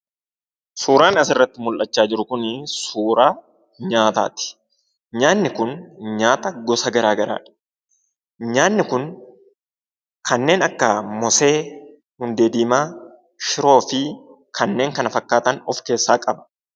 Suuraan asirratti mul'achaa jiru kunii suuraa nyaataati, nyaanni kun nyaata gosa gara garaadh, nyaanni kun kanneen akka mosee , hundee diimaa, shuroofi kanneen kana fakkaatan of keessaa qaba.